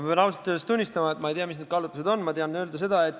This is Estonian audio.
Ma pean ausalt öeldes tunnistama, et ma ei tea, mis kaalutlused mängus on olnud.